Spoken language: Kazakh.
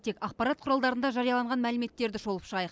тек ақпарат құралдарында жарияланған мәліметтерді шолып шығайық